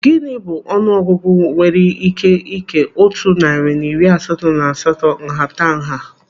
Gịnị bụ ọnụ ọgụgụ enwere ike ikee otu narị na iri asatọ na asatọ nhata nha?